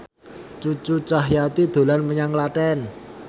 Cucu Cahyati dolan menyang Klaten